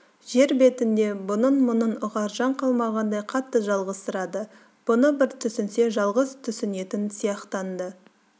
жер бетінде бұның мұңын ұғар жан қалмағандай қатты жалғызсырады бұны бір түсінсе жалғыз түсінетін сияқтанды